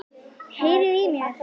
Heyriði í mér?